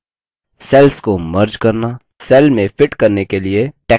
cells को merge करना cells में fit करने के लिए text को कम करना